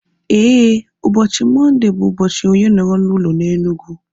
Éè, ụbọchị Mọnde bụ ụbọchị onye nọrọ n'ụlọ na Enugu